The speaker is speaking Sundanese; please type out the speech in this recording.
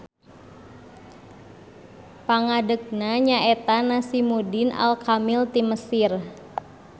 Pangadegna nya eta Nasimuddin al-Kamil ti Mesir.